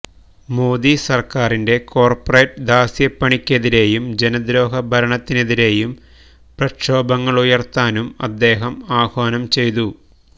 മോദി സർക്കാരിന്റെ കോർപ്പറേറ്റ് ദാസ്യപ്പണിക്കെതിരെയും ജനദ്രോഹ ഭരണത്തിനെതിരെയും പ്രക്ഷോഭങ്ങളുയർത്താനും അദ്ദേഹം ആഹ്വാനം ചെയ്തു